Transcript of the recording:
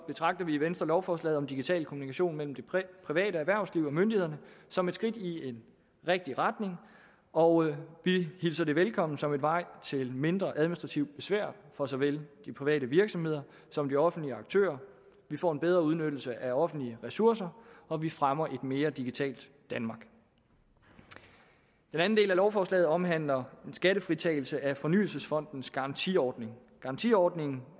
betragter vi i venstre lovforslaget om digital kommunikation mellem det private erhvervsliv og myndighederne som et skridt i en rigtig retning og vi hilser det velkommen som en vej til mindre administrativt besvær for så vel de private virksomheder som de offentlige aktører vi får en bedre udnyttelse af offentlige ressourcer og vi fremmer et mere digitalt danmark den anden del af lovforslaget omhandler en skattefritagelse af fornyelsesfondens garantiordning garantiordningen